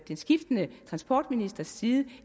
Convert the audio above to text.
skiftende transportministres side